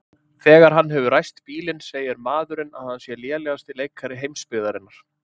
Þegar hann hefur ræst bílinn segir maðurinn að hann sé lélegasti leikari heimsbyggðarinnar.